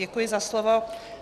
Děkuji za slovo.